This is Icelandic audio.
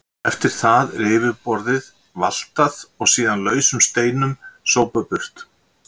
Eftir það er yfirborðið valtað og síðan lausum steinum sópað burt.